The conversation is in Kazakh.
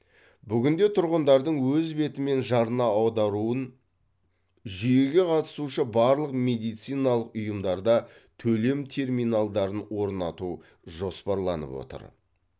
бүгінде тұрғындардың өз бетімен жарна аударуын жүйеге қатысушы барлық медициналық ұйымдарда төлем терминалдарын орнату жоспарланып отыр